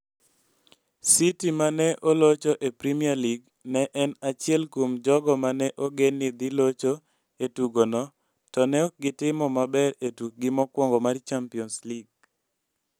City ma ne olocho e Premier League ne en achiel kuom jogo ma ne ogen ni dhi locho e tugono to ne ok gitimo maber e tukgi mokwongo mar Champions League.